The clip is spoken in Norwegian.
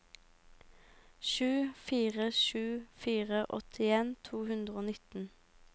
sju fire sju fire åttien to hundre og nitten